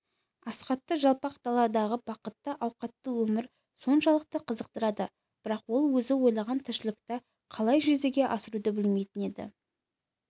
асхатты жалпақ даладағы бақытты ауқатты өмір соншалықты қызықтырады бірақ ол өзі ойлаған тіршілікті қалай жүзеге асыруды білмейтін еді